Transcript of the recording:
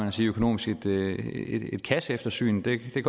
at sige økonomisk et kasseeftersyn det kan